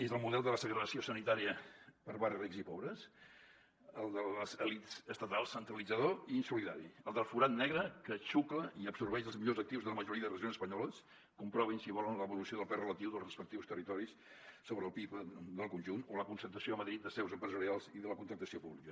és el model de la segregació sanitària per barris rics i pobres el de les elits estatals centralitzador i insolidari el del forat negre que xucla i absorbeix els millors actius de la majoria de regions espanyoles comprovin si volen l’evolució del pes relatiu dels respectius territoris sobre el pib del conjunt o la concentració a madrid de seus empresarials i de la contractació pública